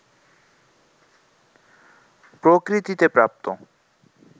প্রকৃতিতে প্রাপ্ত